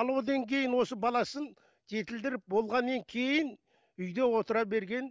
ал одан кейін осы баласын жетілдіріп болғаннан кейін үйде отыра берген